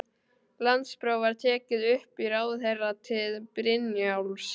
Landspróf var tekið upp í ráðherratíð Brynjólfs